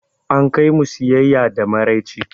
An kai mu siyaya da maraice.